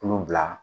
Kulon bila